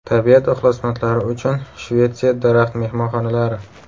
Tabiat ixlosmandlari uchun Shvetsiya daraxt-mehmonxonalari .